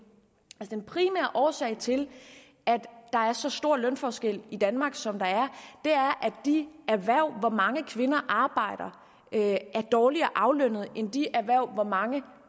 den primære årsag til at der er så store lønforskelle i danmark som der er er at de erhverv hvor mange kvinder arbejder er dårligere aflønnet end de erhverv hvor mange